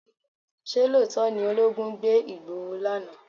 Ṣé lóòótọ́ ni olóogun gbé Igboho lánàá?